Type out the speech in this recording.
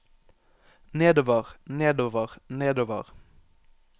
nedover nedover nedover